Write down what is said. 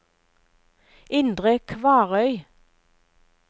Indre Kvarøy